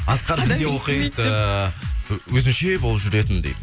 асқар біз де оқиды ыыы өзінше болып жүретін дейді